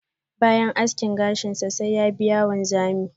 bayan aski gashin sa, sai ya biya wanzamin.